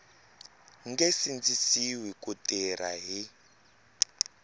nge sindzisiwi ku tirha hi